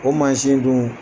O mansin dun